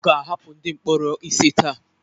A ga-ahapụ ndị mkpọrọ ise taa.